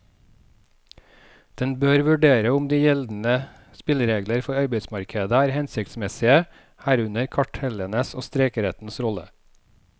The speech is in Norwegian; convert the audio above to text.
Den bør vurdere om de gjeldende spilleregler for arbeidsmarkedet er hensiktsmessige, herunder kartellenes og streikerettens rolle.